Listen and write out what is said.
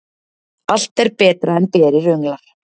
Allt er betra en berir önglar.